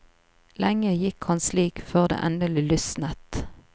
Lenge gikk han slik før det endelig lysnet.